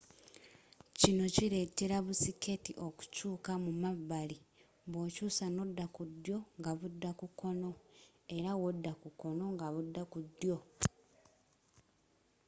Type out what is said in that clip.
kino kiletela bu siketi okukyuka mu mabbali bwokyusa n'odda ku ddyo nga budda kukoono era wodda ku koono nga budda ku ddyo